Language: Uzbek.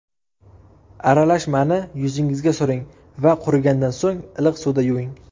Aralashmani yuzingizga suring va qurigandan so‘ng iliq suvda yuving.